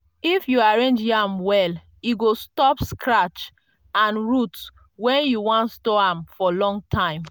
if you arrange yam well e go stop scratch and root when you wan store am for long time.